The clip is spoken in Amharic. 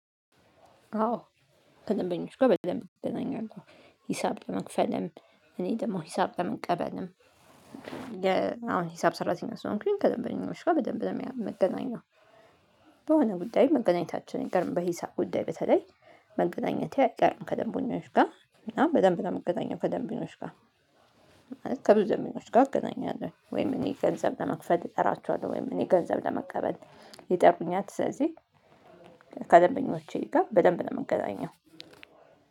አዎ ከደምበኞች ጋ በደንብ እገናኛለሁ። ሂሳብ ለመክፈልም እኔ ደግሞ ሂሳብ ለመቀበልም። ለመቀበልም አሁን ሂሳብ ሰራተኛ ስሆን እንክሊን ከደንበኛው ጋር በደንብ ነው የምገናኘው። ጉዳይ መገናኘታችን ይገርም በሂሳብ ጉዳይ በተለይ መገናኘቴ አይቀርም ከደንቦኞች ጋ እና በደንብ እገዛኛለሁ። ከደንቢኖች ጋር ከብዙ ደንበኞች ጋር እገናኛለሁ ወይም እኔ ገንዘብ ለመክፈት ይጠራቸዋል። ወይም እኔ ገንዘብ ለመቀበል ይጠሩኛት። ስለዚህ ከደንበኞቼ ጋር በደንብ የምንገናኘው